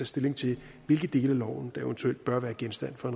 stilling til hvilke dele af loven der eventuelt bør være genstand for